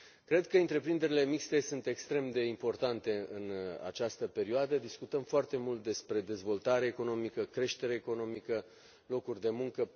Cred că întreprinderile mixte sunt extrem de importante în această perioadă, discutăm foarte mult despre dezvoltare economică, creștere economică, locuri de muncă.